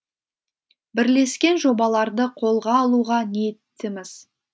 бірлескен жобаларды қолға алуға ниеттіміз